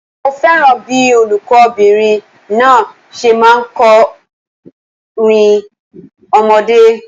Mo fẹ́ràn bíí olùkó bìnrin náà se máa n kó orin ọmọdé